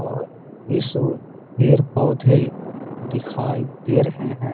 और इस ओर पेड़-पौधे दिखाई दे रहे हैं।